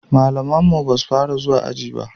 malaman mu basu Fara zuwa aji ba